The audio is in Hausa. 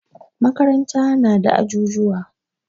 Makaranta na da ajujuwa.